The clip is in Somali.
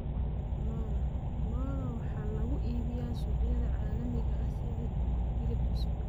Lo'da lo'da waxaa lagu iibiyaa suuqyada caalamiga ah sidii hilib cusub.